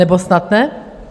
Nebo snad ne?